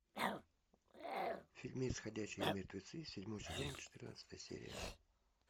фильмец ходячие мертвецы седьмой сезон четырнадцатая серия